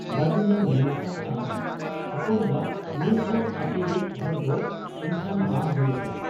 ᱵᱟᱹᱡᱩᱱᱮ ᱢᱮᱱ ᱟᱠᱟᱜ ᱟ, 'ᱦᱚᱯᱚᱱ ᱵᱟ ! ᱱᱤᱛᱦᱚᱸ ᱟᱯᱮᱭᱤᱡ ᱦᱚᱲᱫᱚ ᱮᱱᱠᱷᱟᱱ ᱵᱟᱢ ᱦᱩᱭ ᱟᱠᱟᱱᱟ ?